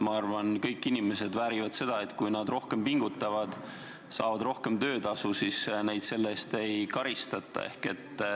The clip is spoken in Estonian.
Ma arvan, et kõik inimesed väärivad seda, et kui nad rohkem pingutavad ja saavad rohkem töötasu, siis neid selle eest ei karistata.